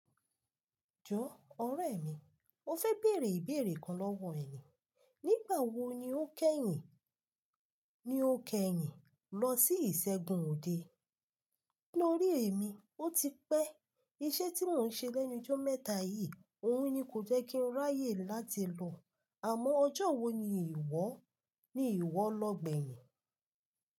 Jọ ọ̀rẹ́ mi, mo fẹ́ bèèrè ìbéèrè kan lọ́wọ́ ẹ ni. Nígbà wo ni o kẹ́yìn, ni o kẹ́yìn lọ sí ìṣẹ́gun òde? Nínú orí èmi, o ti pẹ́. Iṣẹ́ tí mò ń ṣe lẹ́nu jọ́ mẹ́ta yìí, òun ni kò jẹ́ kí n ráyè láti lọ. Àmọ́ ọjọ́ wo ni ìwọ, ni ìwọ lọ gbẹ̀yìn?